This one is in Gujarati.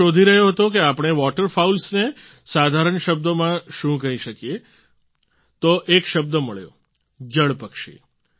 હું શોધી રહ્યો હતો કે આપણે વોટર ફાઉલ્સ ને સાધારણ શબ્દોમાં શું કહી શકીએ છીએ તો એક શબ્દ મળ્યો જલપક્ષી